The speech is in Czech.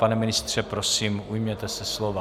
Pane ministře, prosím, ujměte se slova.